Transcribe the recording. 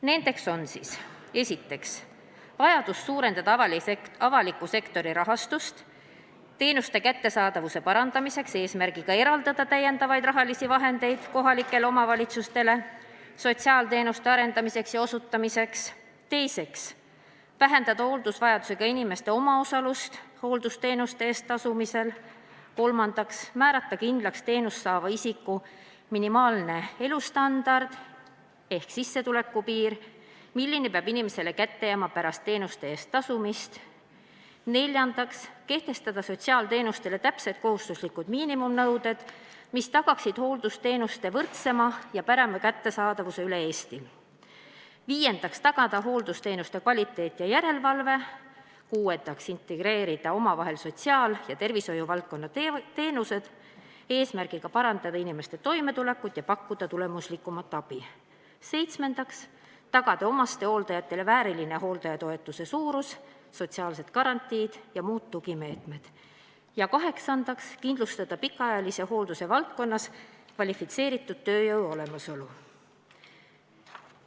Need ettepanekud on: esiteks, vajadus suurendada avaliku sektori rahastust teenuste kättesaadavuse parandamiseks, eesmärgiga eraldada täiendavat raha kohalikele omavalitsustele sotsiaalteenuste arendamiseks ja osutamiseks; teiseks, vähendada hooldusvajadusega inimeste omaosalust hooldusteenuste eest tasumisel; kolmandaks, määrata kindlaks teenust saava isiku minimaalne elustandard ehk sissetuleku piir, kui suur summa peab inimesele kätte jääma pärast teenuste eest tasumist; neljandaks, kehtestada sotsiaalteenustele täpsed kohustuslikud miinimumnõuded, mis tagaksid hooldusteenuste võrdsema ja parema kättesaadavuse üle Eesti; viiendaks, tagada hooldusteenuste kvaliteet ja järelevalve; kuuendaks, integreerida omavahel sotsiaal- ja tervishoiuvaldkonna teenused, et parandada inimeste toimetulekut ja pakkuda tulemuslikumat abi; seitsmendaks, tagada omastehooldajatele vääriline hooldajatoetuse suurus, sotsiaalsed garantiid ja muud tugimeetmed; kaheksandaks, kindlustada pikaajalise hoolduse valdkonnas kvalifitseeritud tööjõu olemasolu.